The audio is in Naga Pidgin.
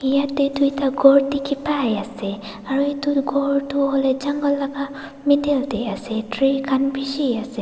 yatae tuita khor dikhipaiase aru edu ghor toh hoilae jungle laka middle tae ase tree khan bishiase.